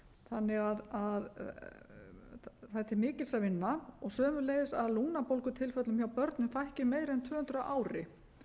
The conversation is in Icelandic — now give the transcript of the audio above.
þannig að það er til mikils að vinn og sömuleiðis að lungnabólgutilfellum hjá börnum fækki um meira en tvö hundruð á ári